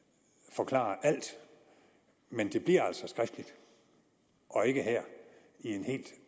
forklare alt men det bliver altså skriftligt og ikke her i en helt